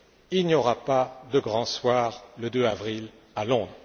Il n'y aura pas de grand soir le 2 avril à Londres.